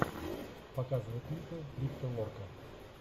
показывай клипы крипто лорка